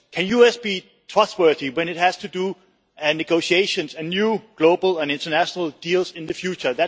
Can the US be trustworthy when it has to do negotiations and new global and international deal in the future?